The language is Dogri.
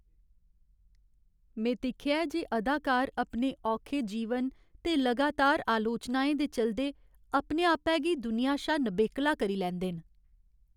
में दिक्खेआ ऐ जे अदाकार अपने औखे जीवन ते लगातार आलोचनाएं दे चलदे अपने आपै गी दुनिया शा नबेकला करी लैंदे न।